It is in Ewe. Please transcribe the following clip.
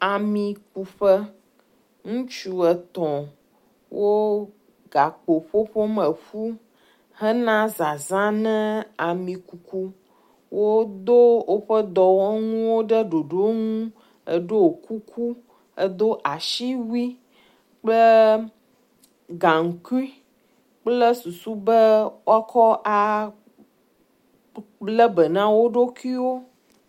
Amikuƒe, ŋutsu etɔ̃ wo gakpo ƒuƒom ƒu hena zaza ne amikuku. Wodo woƒe dɔwɔnuwo ɖe ɖoɖo nu, eɖo kuku edo asiwui kple gaŋkui kple susu be wokɔ a…lebena wp ɖokuiwo.